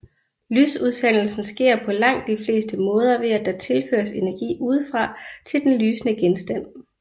Lysudsendelsen sker på langt de fleste måder ved at der tilføres energi udefra til den lysende genstand